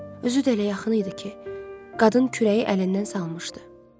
Özü də elə yaxın idi ki, qadın kürəyi əlindən salmışdı.